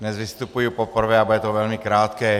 Dnes vystupuji poprvé a bude to velmi krátké.